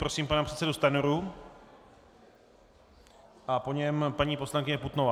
Prosím pana předsedu Stanjuru a po něm paní poslankyně Putnová.